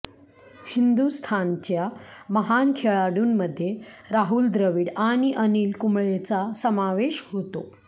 हिंदुस्थानच्या महान खेळाडूंमध्ये राहुल द्रविड आणि अनिल कुंबळेचा समावेश होतो